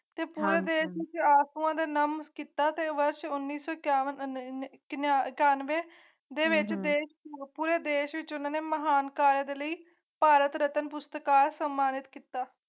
ਟਕਸਾਲ ਦੇ ਮੁਖੀ ਹਰਨਾਮ ਕੀਤਾ ਪਰ ਸ਼੍ਰੋਮਣੀ ਸੰਖਿਆਵਾਂ ਹਨ ਤੇਵਰ ਹੈਂ ਸੋਈ ਉਨੀ ਸੋ ਸ਼ਆਨਵੇ ਹੁਣ ਦੇਸ਼ ਵਿਚ ਉਨ੍ਹਾਂ ਨੇ ਮਹਾਨ ਕਾਰਜ ਲਈ ਭਾਰਤ ਰਤਨ ਪੁਰਸਕਾਰ ਸਨਮਾਨਿਤ ਕੀਤਾ